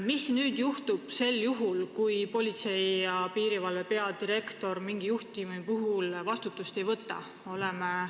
Mis juhtub sel juhul, kui Politsei- ja Piirivalveameti peadirektor mingi juhtumi puhul vastutust ei võta?